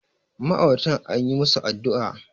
ma'auratan an yi musu addu'a